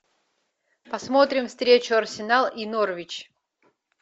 посмотрим встречу арсенал и норвич